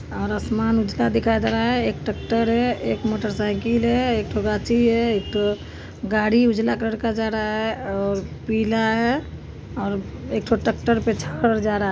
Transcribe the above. और आसमान उजला दिखाई दे रहा है एक ट्रैक्टर है एक मोटरसाइकल हे एक ठो गाछी है एक ठो गाड़ी उजला कलर का जा रहा है और पीला है और एक ठो ट्रैक्टर पे चढ़ल जा रहा है।